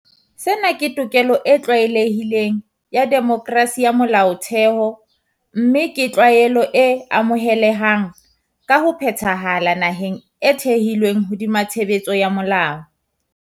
Sena ke tokelo e tlwaelehileng ya demokerasi ya molaotheo mme ke tlwaelo e amohelehang ka ho phethahala naheng e thehilweng hodima tshebetso ya molao.